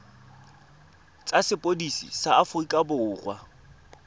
tsa sepodisi sa aforika borwa